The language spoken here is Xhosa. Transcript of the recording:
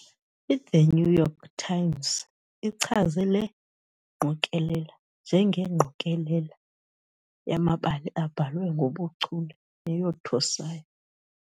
" "IThe New York Times" ichaze le ngqokelela "njengengqokelela yamabali abhalwe ngobuchule neyothusayo".